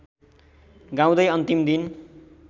गाउँदै अन्तिम दिन